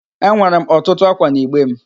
Enwere m ọtụtụ ákwà n'igbe m